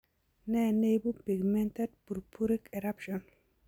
Nee neibu pigmented purpuric eruption